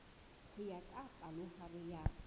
ho ya ka palohare ya